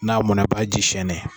N'a mɔn na i b'a ji sɛɛnɛ.